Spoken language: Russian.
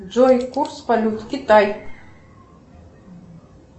джой курс валют китай